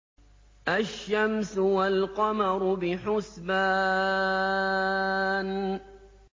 الشَّمْسُ وَالْقَمَرُ بِحُسْبَانٍ